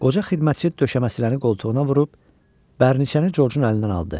Qoca xidmətçi döşəməçilərin qoltuğuna vurub bərniçəni Corcun əlindən aldı.